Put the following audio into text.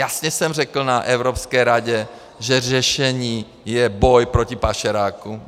Jasně jsem řekl na Evropské radě, že řešení je boj proti pašerákům.